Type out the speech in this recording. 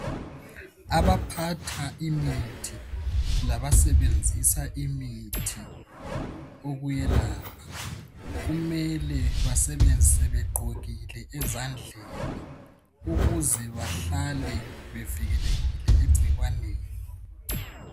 Abaphatha imithi labasebenzisa imithi ukuyelapha kumele basebenzise begqokile ezandleni ukuze bahlale bevikelekile egcikwaneni.